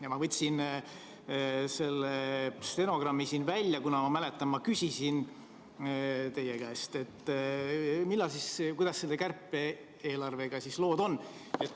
Ja ma võtsin selle stenogrammi välja, sest ma mäletan, ma küsisin teie käest, kuidas selle kärpe-eelarvega siis lood on.